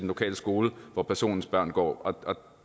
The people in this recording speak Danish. lokale skole hvor personens børn går